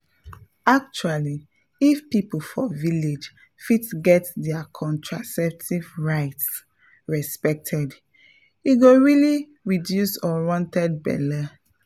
actually if people for village fit get their contraceptive rights respected e go really reduce unwanted belle.